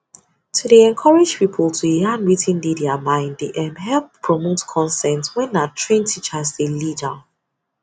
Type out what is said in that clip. to dey encourage people to yarn wetin dey their mind dey um help promote consent where na trained teachers dey lead um